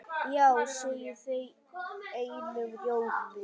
Já segja þau einum rómi.